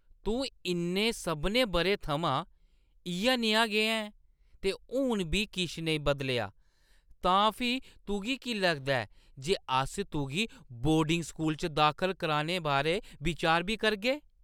तूं इʼनें सभनें बʼरें थमां इʼयै नेहा गै ऐं ते हून बी किश नेईं बदलेआ, तां फ्ही तुगी की लगदा ऐ जे अस तुगी बोर्डिंग स्कूल च दाखल कराने बारै बिचार बी करगे?